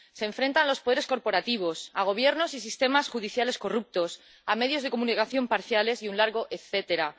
Se enfrentan a los poderes corporativos, a gobiernos y sistemas judiciales corruptos, a medios de comunicación parciales y un largo etcétera.